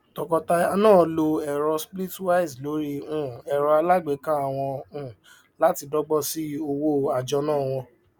tọkọtaya náà lo ẹrọ splitwise lórí um ẹrọ aláàgbéká wọn um láti dọgbọn sí owó àjọná wọn